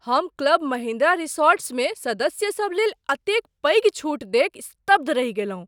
हम क्लब महिंद्रा रिसॉर्ट्समे सदस्यसभ लेल एतेक पैघ छूट देखि स्तब्ध रहि गेलहुँ।